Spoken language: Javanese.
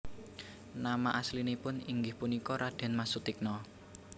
Nama aslinipun inggih punika Radén Mas Sutikna